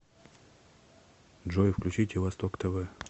джой включите восток тв